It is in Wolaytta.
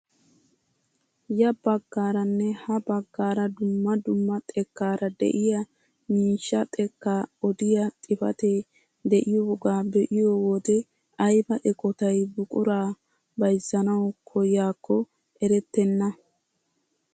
Ya baggaranne ha baggaara dumma dumma xekkaara de'iyaa miishshaa xekkaa odiyaa xifatee de'iyoogaa be'iyo wode ayba eqotay buquraa bayzzanawu koyaakko erettena!